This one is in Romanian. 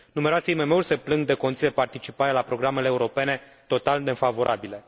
Numeroase IMM uri se plâng de condiții de participare la programele europene total nefavorabile.